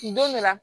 Nin don de la